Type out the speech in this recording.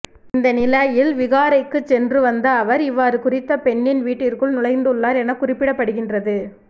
இந்த நிலையில் விகாரைக்கு சென்று வந்த அவர் இவ்வாறு குறித்த பெண்ணின் வீட்டிற்குள் நுழைந்துள்ளார் என குறிப்பிடப்படுகின்றது